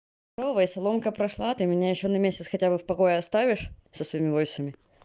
новая соломка прошла ты меня ещё на месяц хотя бы в покое оставишь со своими войсами